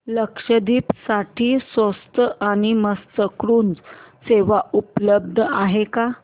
लक्षद्वीप साठी स्वस्त आणि मस्त क्रुझ सेवा उपलब्ध आहे का